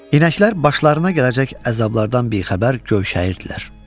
İnəklər başlarına gələcək əzablardan bixəbər gövşəyirdilər.